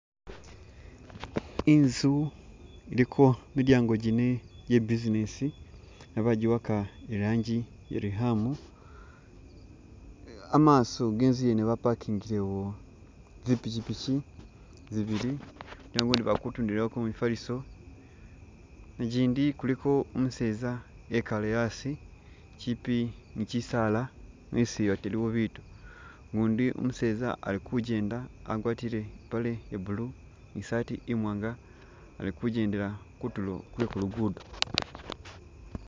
Inzu iliko midyango jine ja business bajiwaka i rangi iya riham, amaso genzu yene ba parkingilewo zi pikyipikyi zibili nabone bakutundilako mifaliso, gindi kuliko umuseza ekale asi kyipi ni kyisaala, esi ate iliwo bitu, gundi umuseza alikugenda agwatile ipale iya blue ni shirt imwanga alikugendela kutulo kwe kulugudo.